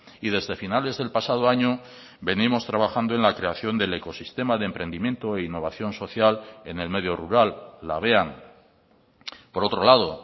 y desde finales del pasado año venimos trabajando en la creación del ecosistema de emprendimiento e innovación social en el medio rural labean por otro lado